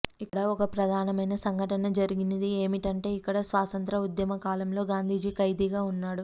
ఇక్కడ ఒక ప్రధానమైన సంఘటన జరిగినది ఏమిటంటే ఇక్కడ స్వాతంత్య్ర ఉద్యమ కాలంలో గాంధీజీ ఖైదీగా ఉన్నాడు